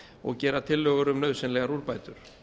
og gera tillögur um nauðsynlegar úrbætur